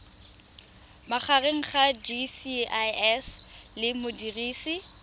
magareng ga gcis le modirisi